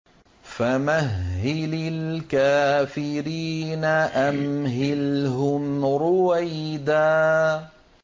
فَمَهِّلِ الْكَافِرِينَ أَمْهِلْهُمْ رُوَيْدًا